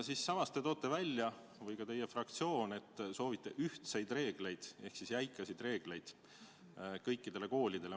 Samas te toote välja – või ka teie fraktsioon –, et te soovite ühtseid reegleid ehk siis jäikasid reegleid kõikidele koolidele.